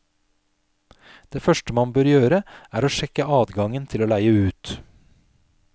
Det første man bør gjøre, er å sjekke adgangen til å leie ut.